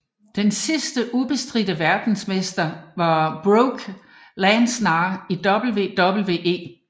Den sidste ubestridte verdensmester var Brock Lesnar i WWE